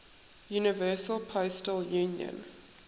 universal postal union